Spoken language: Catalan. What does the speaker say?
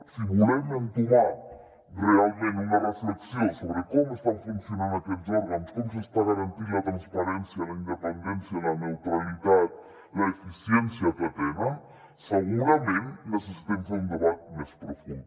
si volem entomar realment una reflexió sobre com estan funcionant aquests òrgans com s’està garantint la transparència la independència la neutralitat l’eficiència que tenen segurament necessitem fer un debat més profund